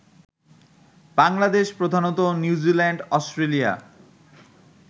বাংলাদেশ প্রধানত New Zealand, Australia